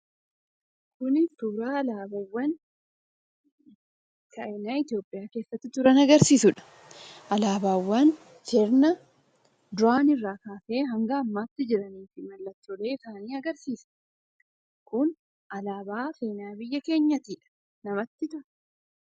Kuni suuraa alaabaawwan Itoophiyaa keessatti jiran agarsiisudha. Alaabaawwan sirna duraanii irraa kaasee hanga ammaattii jiranii fi mallattoo isaanii agarsiisa. Kun alaabaa seenaa biyya keenyaatidha. Namatti tola.